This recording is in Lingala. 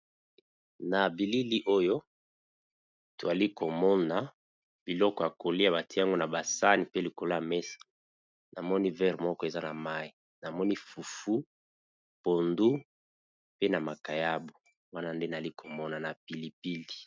Na bilili oyo toali komona biloko ya kolia batiango na basani pe likolo ya mesa namoni vere moko eza na mai namoni fufu pondu pe na makayabo wana nde nali komona na pilipili.